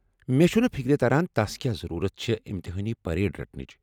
مےٚ چٗھنہٕ فکرِ تران تس کیٛاہ ضروٗرت چھےٚ امتحٲنی پیٖریڈ رٹنٕچ۔